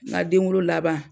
N ga denwolo laban